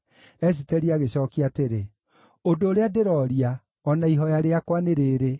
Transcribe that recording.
Esiteri agĩcookia atĩrĩ, “Ũndũ ũrĩa ndĩrooria, o na ihooya rĩakwa nĩ rĩĩrĩ: